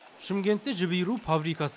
шымкентте жіп иіру фабрикасы